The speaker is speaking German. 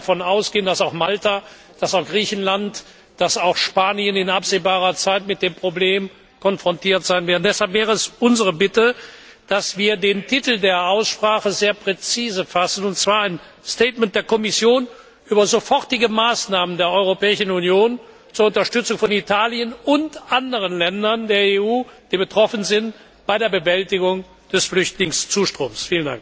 Wir können davon ausgehen, dass auch Malta, Griechenland und Spanien in absehbarer Zeit mit dem Problem konfrontiert sein werden. Deshalb wäre es unsere Bitte, dass wir den Titel der Aussprache sehr präzise fassen, und zwar ein der Kommission über sofortige Maßnahmen der Europäischen Union zur Unterstützung von Italien und anderen Ländern der EU, die betroffen sind, bei der Bewältigung des Flüchtlingszustroms.